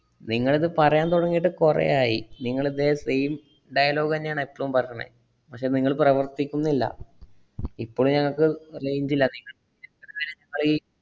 നിങ്ങളിത് പറയാൻ തൊടങ്ങീട്ട് കൊറേ ആയി. നിങ്ങളിതേ same dialogue തന്നെയാണ് എപ്പളും പറണേ. പക്ഷെ നിങ്ങള് പ്രവർത്തിക്കുന്നില്ല. ഇപ്പളും ഞങ്ങക്ക് range ഇല്ല. അയി